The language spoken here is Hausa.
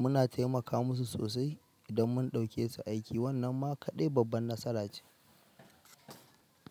muna taimaka musu sosai idan mun ɗauke su aiki wannan ma kaɗai babban nasara ce.